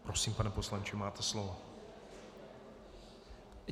Prosím, pane poslanče, máte slovo.